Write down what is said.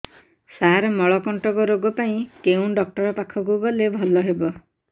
ସାର ମଳକଣ୍ଟକ ରୋଗ ପାଇଁ କେଉଁ ଡକ୍ଟର ପାଖକୁ ଗଲେ ଭଲ ହେବ